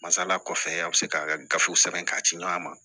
Masala kɔfɛ a bɛ se ka gafew sɛbɛn k'a ci ɲɔgɔn ma